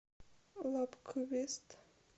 лабквест